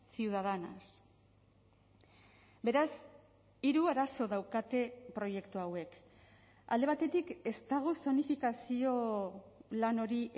ciudadanas beraz hiru arazo daukate proiektu hauek alde batetik ez dago zonifikazio lan hori